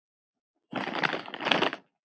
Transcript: Nú fellur enn meira lið.